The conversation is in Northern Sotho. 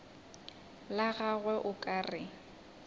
la gagwe o ka re